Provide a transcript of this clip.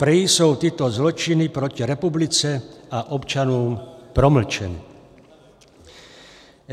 Prý jsou tyto zločiny proti republice a občanům promlčeny.